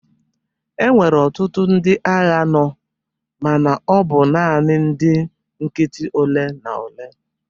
Enwere ọtụtụ ndị agha nọ mana ọ bụ naanị ndị nkịtị ole na ole.